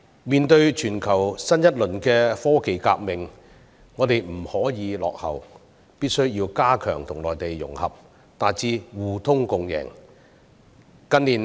面對全球新一輪的科技革命，我們不可以落後，必須要加強跟內地融合，達致互通共贏。